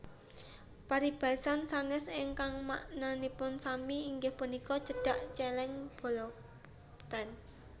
Paribasan sanès ingkang maknanipun sami inggih punika Cedhak cèlèng boloten